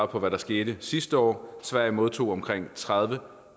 på hvad der skete sidste år sverige modtog omkring tredivetusind